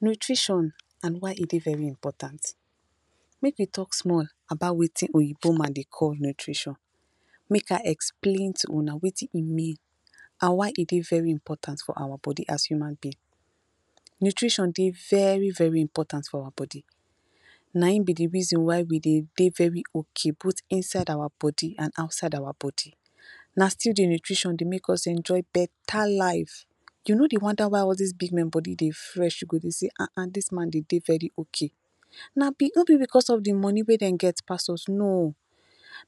Nutrition and y e dey very important, make we talk small about wetin oyinbo man dey call nutrition make I explain to una wetin e mean and why e dey very important for awa body as human being, nutrition dey very very important for awa body nah in b d reason why we dey dey very ok both inside awa body and outside awa body na still d nutrition dey make us enjoy better life, u no dey wonder y all dis big men body dey fresh u go dey say ahn ahn dis man dey dey very ok na b no b because of d money wey dey get pass us no,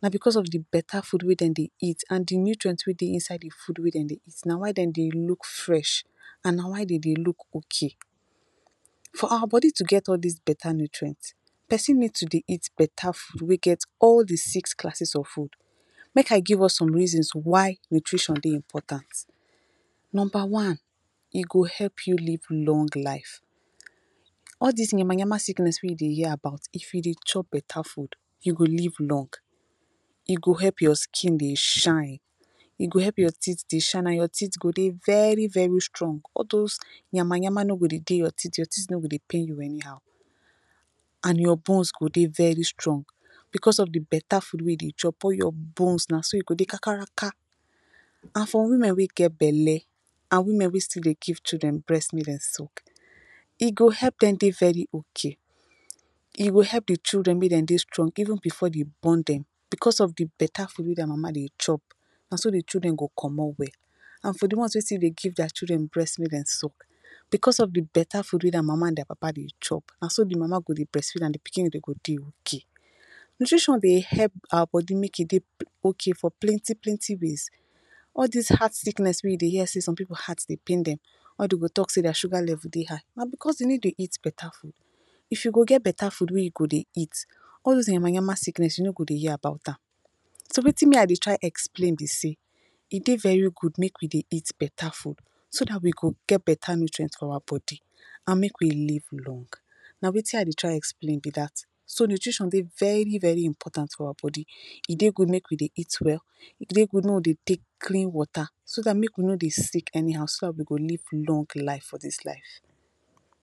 na because of d better food wey dem dey eat and d nutrient wey dey inside d food wey dem dey eat na why dem dey look fresh and na why dem dey look ok. For awa body to get all dis better nutrient persin need to dey eat better food wey get all the six classes of food, make I give us some reasons why nutrition dey important numba one e go help u live long life all dis yama yama sickness wey u dey hear about if u dey chop better food u go live long e go help your skin dey shine e go help your teeth dey shine and your teeth go dey very very strong all dose yama yama no go dey dey your teeth your teeth no go dey pain u anyhow and your bones go dey very strong because of d better food wey u dey chop all your bones nasogo dey kakaraka and for women wey get belle and women wey still dey give children breast make dem sulk e go help dem dey very ok e go help d children make dem dey strong even before dem born dem because of d better food wey their mama dey chop naso d children go commot well and for d ones wey still dey give their children breast make dem sulk because of d better food wey their mama and their papa dey chop naso d mama go dey breast feed am d pikin go dey ok nutrition dey help awa body make e dey ok for plenty plenty ways all dis heart sickness wey u dey hear say some pipu heart dey pain dem or dem go talk say their sugar level dey high na because dem no dey eat better food, if u go get better food wey u go dey eat all dose yama yama sickness u no go dey hear about am so wetin me I dey try explain be say e dey very good make we dey eat better food so dat we go get better nutrient for awa body and make we live long na wetin I dey try explain b dat so nutrition de very very important for awa body e dey good make we dey eat well e dey good make we dey take clean water so dat make we no dey sick anyhow so dat we go live long life for dis life.